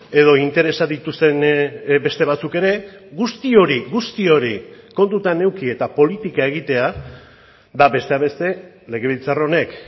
edo interesak dituzten beste batzuk ere guzti hori guzti hori kontutan eduki eta politika egitea da besteak beste legebiltzar honek